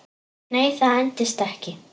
Nei, það endist ekki.